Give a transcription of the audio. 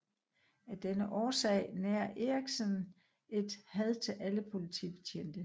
Af denne årsag nærer Erikson et had til alle politibetjente